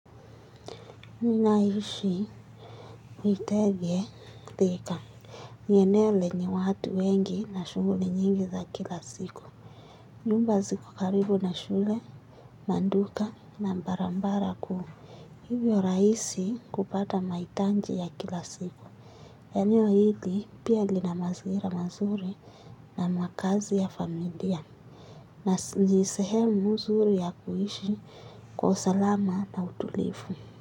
Ninaishi Nitege Tika. Ni eneo lenye watu wengi na shughuli nyingi za kila siku. Nyumba ziko karibu na shule. Manduka na mbarambara kuu. Hivyo rahisi kupata mahitanji ya kila siku. Eneo hili pia lina mazingira mazuri. Na makazi ya familia na ni sehemu zuri ya kuishi kwa usalama na utulivu.